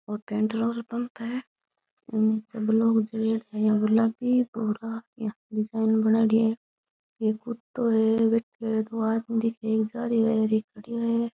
ओ पेट्रोल है इक नीचे ब्लॉक झड़ियोडा है गुलाबी भूरा यान डिज़ाइन बनायोडी है एक कुत्तो है बैठयो है एक ओ आदमी दिखे कही जा रियो है एक खडियो है।